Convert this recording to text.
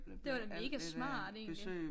Det var da mega smart egentlig